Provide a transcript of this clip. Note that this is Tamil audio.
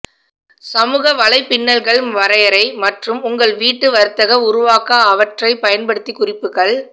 சமூக வலைப்பின்னல்கள் வரையறை மற்றும் உங்கள் வீட்டு வர்த்தக உருவாக்க அவற்றை பயன்படுத்தி குறிப்புகள்